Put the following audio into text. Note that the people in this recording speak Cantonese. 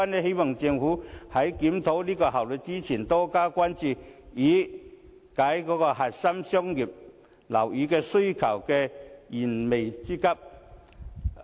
希望政府在檢討規劃效率時能多加關注，以解核心商業區商業樓宇需求的燃眉之急。